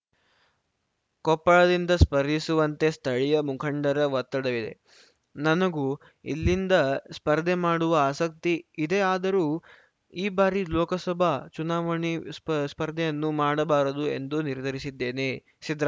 ಕೊಪ್ಪಳದಿಂದ ಸ್ಪರ್ಧಿಸುವಂತೆ ಸ್ಥಳೀಯ ಮುಖಂಡರ ಒತ್ತಡವಿದೆ ನನಗೂ ಇಲ್ಲಿಂದ ಸ್ಪರ್ಧೆ ಮಾಡುವ ಆಸಕ್ತಿ ಇದೆಯಾದರೂ ಈ ಬಾರಿ ಲೋಕಸಭಾ ಚುನಾವಣೆ ಸ್ಪ ಸ್ಪರ್ಧೆಯನ್ನೇ ಮಾಡಬಾರದು ಎಂದು ನಿರ್ಧರಿಸಿದ್ದೇನೆ ಸಿದ್ದರಾ